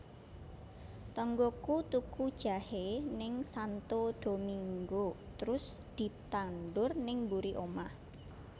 Tonggoku tuku jahe ning Santo Domingo trus ditandur ning mburi omah